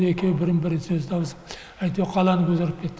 екеуі бірін бірі сөз табысып әйтеуір қаланы көтеріп кет